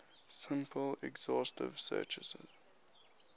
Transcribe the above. simple exhaustive searches